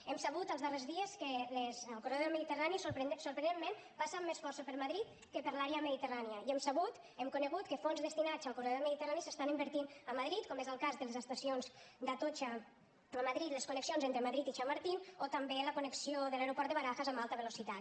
hem sabut els darrers dies que el corredor del mediterrani sorprenentment passa amb més força per madrid que per l’àrea mediterrània i hem sabut hem conegut que fons destinats al corredor mediterrani s’estan invertint a madrid com és el cas de les estacions d’atocha a madrid les connexions entre madrid i chamartín o també la connexió de l’aeroport de barajas amb alta velocitat